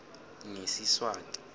ngesiswati